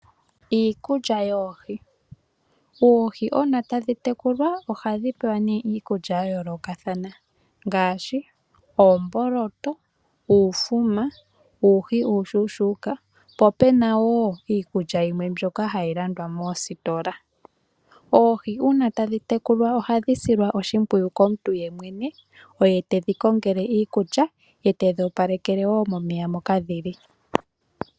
Iikulya yoohi, oohi uuna tadhi tekulwa ohadhi pewa nee iikulya yayoolokathana ngaashi, uumboloto, uufuma, uuhi uushuushuuka, popena woo iikulya yimwe mbyoka hayi landwa moositola. Oohi uuna tadhi tekulwa ohadhi silwa oshimpwiyu komuntu yemwene, oye tadhi kongele iikulya, ye tedhi opalekele woo momeya moka dhili.